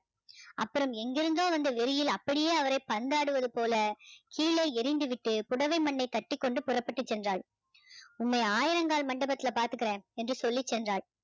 அப்பறம் எங்கிருந்தோ வந்த வெறியில் அப்படியோ அவரை பந்தாடுவது போல கீழே எரிந்து விட்டு புடவை மண்ணை தட்டிக்கொண்டு புறப்பட்டு சென்றால் உம்மை ஆயிரங்கால் மண்டபத்துல பாத்துக்குறேன் என்று சொல்லி சென்றாள்